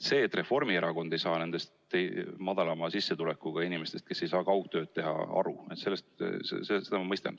Seda, et Reformierakond ei saa aru nendest väiksema sissetulekuga inimestest, kes ei saa kaugtööd teha, ma mõistan.